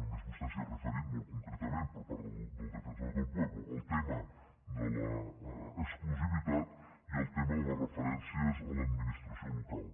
només vostè s’hi ha referit molt concretament per part del defensor del pueblo el tema de l’exclusivitat i el tema de les referències a l’administració local